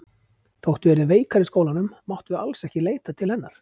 Þótt við yrðum veikar í skólanum máttum við alls ekki leita til hennar.